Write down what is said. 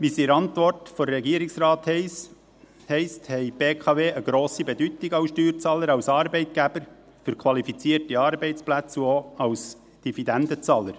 Wie es in der Antwort des Regierungsrates heisst, hat die BKW eine grosse Bedeutung als Steuerzahler, als Arbeitgeber für qualifizierte Arbeitsplätze und auch als Dividendenzahler.